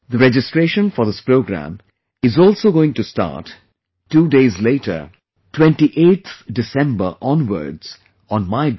The registration for this program is also going to start two days later, 28th December onwards on Mygov